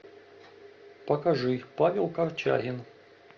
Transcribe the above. покажи павел корчагин